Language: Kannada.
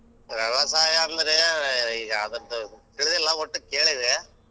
ವ್ಯವಸಾಯ ಅಂದ್ರೆ ಈಗಾ ಅದ್ರದ್ದು ತಿಳ್ದಿಲ್ಲಾ ಒಟ್ಟು ಕೇಳಿದ್ದೆ.